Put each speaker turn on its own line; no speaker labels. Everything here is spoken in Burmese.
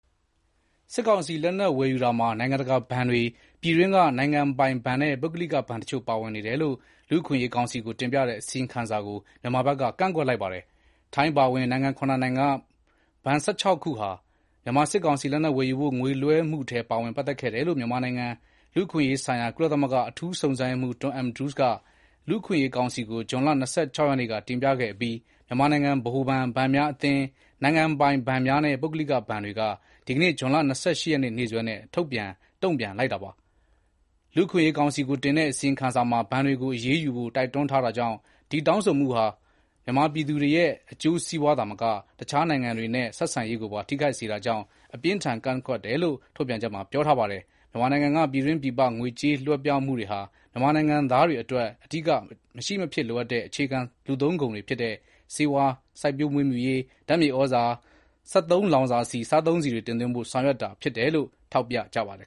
စစ်ကောင်စီလက်နက်ဝယ်ယူတာမှာ နိုင်ငံတကာဘဏ်တွေ၊ ပြည်တွင်းနိုင်ငံပိုင်ဘဏ်နဲ့ ပုဂ္ဂလိကဘဏ်တချို့ ပါဝင်နေတယ်လို့ လူ့အခွင့်အရေးကောင်စီကို တင်ပြတဲ့ အစီရင်ခံစာကို မြန်မာဘက်က ကန့်ကွက်လိုက်ပါတယ်။ ထိုင်းအပါအဝင် နိုင်ငံ (၇) နိုင်ငံက ဘဏ် (၁၆) ခု ဟာ မြန်မာစစ်ကောင်စီလက်နက်ဝယ်ယူဖို့ ငွေလွှဲမှုထဲပါဝင်ခဲ့တယ်လို့ မြန်မာနိုင်ငံ လူ့အခွင့်အရေးဆိုင်ရာ ကုလသမဂ္ဂအထူးစုံစမ်းရေးမှူး Tom Andrews ကလူ့အခွင့်အရေးကောင်စီကို ဇွန်လ ၂၆ ရက်နေ့က တင်ပြခဲ့အပြီး မြန်မာနိုင်ငံ ဗဟိုဘဏ်၊ ဘဏ်များအသင်း၊ နိုင်ငံပိုင်ဘဏ်များနဲ့ ပုဂ္ဂလိကဘဏ်များဆိုပြီး ဒီနေ့ ဇွန်လ ၂၈ ရက်နေ့စွဲနဲ့ ထုတ်ပြန် တုံ့ပြန်လိုက်တာပါ။ လူ့အခွင့်အရေးကောင်စီကိုတင်တဲ့ အစီရင်ခံစာမှာ ဘဏ်တွေကို အရေးယူဖို့တိုက်တွန်းထားတာကြောင့် ဒီတောင်းဆိုမှုဟာ မြန်မာပြည်သူတွေရဲ့ အကျိုးစီးပွားသာမက တခြားနိုင်ငံတွေနဲ့ ဆက်ဆံရေးကိုပါ ထိခိုက်စေတာကြောင့် အပြင်းအထန် ကန့်ကွက်တယ်လို့ ထုတ်ပြန်ချက်မှာ ပြောထားပါတယ်။ မြန်မာနိုင်ငံက ပြည်တွင်း ပြည်ပ ငွေကြေးလွှဲပြောင်းမှုတွေဟာ မြန်မာနိုင်ငံသားတွေအတွက် အဓိက မရှိ မဖြစ်လိုအပ်တဲ့ အခြေခံကုန်တွေဖြစ်တဲ့ ဆေးဝါး၊ စိုက်ပျိုးမွေးမြူရေး၊ ဓါတ်မြေဩဇာ၊ စက်သုံးဆီ၊ စားသုံးဆီတွေ တင်သွင်းဖို့ ဆောင်ရွက်တာဖြစ်တယ်လို့ ထောက်ပြပါတယ်